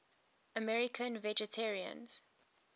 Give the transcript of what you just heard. american vegetarians